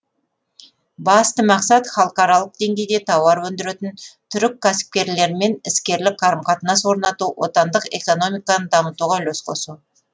басты мақсат халықаралық деңгейде тауар өндіретін түрік кәсіпкерлермен іскерлік қарым қатынас орнату отандық экономиканы дамытуға үлес қосу